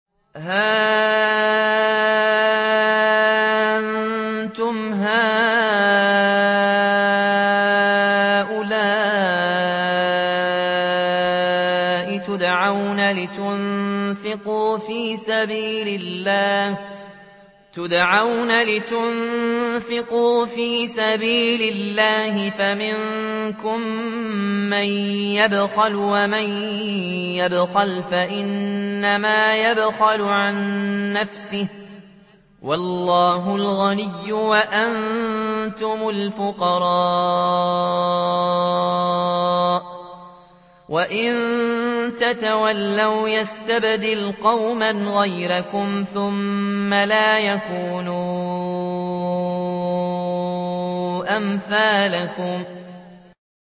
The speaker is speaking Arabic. هَا أَنتُمْ هَٰؤُلَاءِ تُدْعَوْنَ لِتُنفِقُوا فِي سَبِيلِ اللَّهِ فَمِنكُم مَّن يَبْخَلُ ۖ وَمَن يَبْخَلْ فَإِنَّمَا يَبْخَلُ عَن نَّفْسِهِ ۚ وَاللَّهُ الْغَنِيُّ وَأَنتُمُ الْفُقَرَاءُ ۚ وَإِن تَتَوَلَّوْا يَسْتَبْدِلْ قَوْمًا غَيْرَكُمْ ثُمَّ لَا يَكُونُوا أَمْثَالَكُم